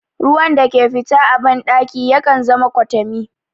Ruwan da ke fita a ban ɗaki yakan zama kwatami